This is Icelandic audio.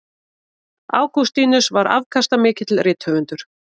Ágústínus var afkastamikill rithöfundur.